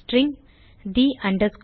string the name